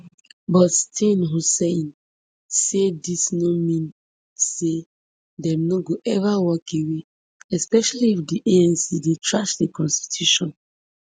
but steenhuisen say dis no mean say dem no go eva walk away especially if di anc dey trash di constitution